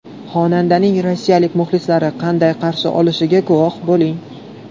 Xonandaning rossiyalik muxlislari qanday qarshi olishiga guvoh bo‘ling.